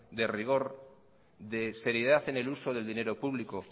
de rigor de seriedad en el uso del dinero público